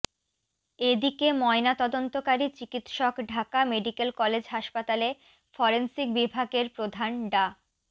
এদিকে ময়নাতদন্তকারী চিকিৎসক ঢাকা মেডিকেল কলেজ হাসপাতালে ফরেনসিক বিভাগের প্রধান ডা